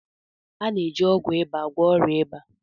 A na-eji ọgwụ ịba agwọ ọrịa ịba.